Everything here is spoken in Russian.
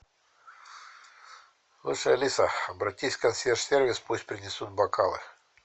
слушай алиса обратись в консьерж сервис пусть принесут бокалы